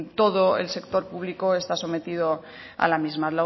todo el sector público está sometido a la misma